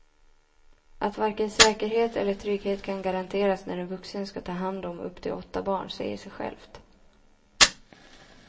Att varken säkerhet eller trygghet kan garanteras när en vuxen ska ta hand om upp till åtta barn säger sig självt.